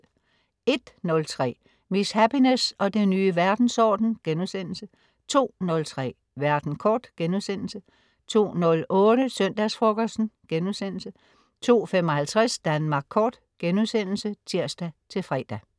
01.03 Miss Happiness og den nye verdensorden* 02.03 Verden kort* 02.08 Søndagsfrokosten* 02.55 Danmark Kort* (tirs-fre)